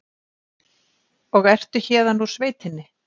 Og ertu héðan úr sveitinni?